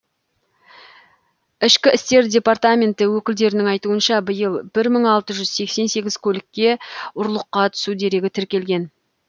ішкі істер департаменті өкілдерінің айтуынша биыл маың алты жүз сексен сегіз көлікке ұрлыққа түсу дерегі тіркелген